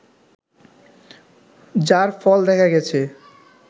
যার ফল দেখা গেছে